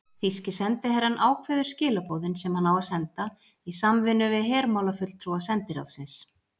Þýski sendiherrann ákveður skilaboðin, sem hann á að senda, í samvinnu við hermálafulltrúa sendiráðsins.